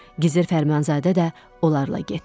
Gizir Fərmanzadə də onlarla getdi.